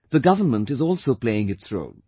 The government is also playing its role